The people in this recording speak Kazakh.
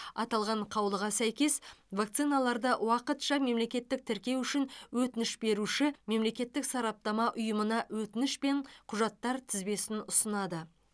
аталған қаулыға сәйкес вакциналарды уақытша мемлекеттік тіркеу үшін өтініш беруші мемлекеттік сараптама ұйымына өтініш пен құжаттар тізбесін ұсынады